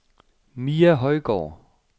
Mia Højgaard